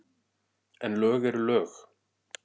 En lög eru lög.